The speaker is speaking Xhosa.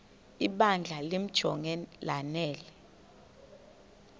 ibandla limjonge lanele